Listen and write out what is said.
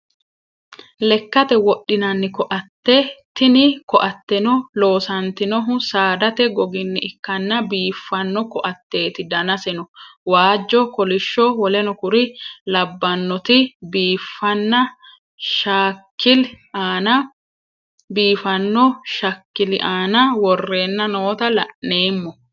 Lekkate wodhinnanni ko'atteti. tinni ko'atteno loosannittinohu saaddatte googgini ikkanna biifanno ko'atteti dannasenno waajjo, kolishsho,w.k.l laabbannoti biifano shakkili Anna worenna noota la'nnemo